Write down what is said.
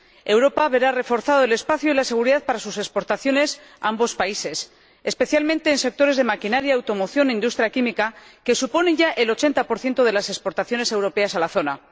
Europa verá reforzados el espacio y la seguridad para sus exportaciones a ambos países, especialmente en los sectores de la maquinaria, la automoción y la industria química, que suponen ya el 80 de las exportaciones europeas a la zona